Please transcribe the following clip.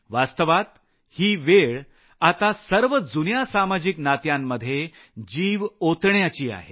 वास्तवात ही वेळ आता सर्व जुन्या सामाजिक नात्यांमध्ये जीव ओतण्याची आहे